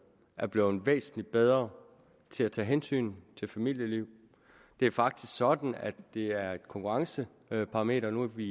er blevet væsentlig bedre til at tage hensyn til familielivet det er faktisk sådan at det er et konkurrenceparameter vi